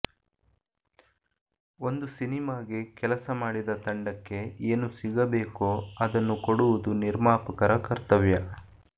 ಒಂದು ಸಿನಿಮಾಗೆ ಕೆಲಸ ಮಾಡಿದ ತಂಡಕ್ಕೆ ಏನು ಸಿಗಬೇಕೋ ಅದನ್ನು ಕೊಡುವುದು ನಿರ್ಮಾಪಕರ ಕರ್ತವ್ಯ